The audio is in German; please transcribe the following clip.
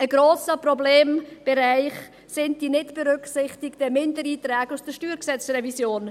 Ein grosser Problembereich sind die nicht berücksichtigen Mindereinträge aus der StG-Revision.